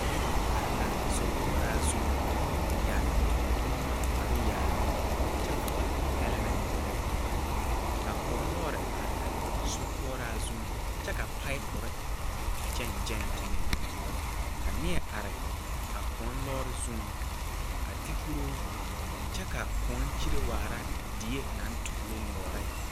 Noba are la sokoɔraa zuŋ yɛre tontonneba kpare yaayi kyɛ vɔgli hɛlmɛntere ka kõɔ loori are a sokoɔraa zuŋ kyɛ ka paipore gyɛŋ gyɛŋ teŋeŋ ka neɛ are a kõɔ loori zuŋ a ti kuroo kyɛ ka kõɔ kyere waara die naŋ toglo nyuuri.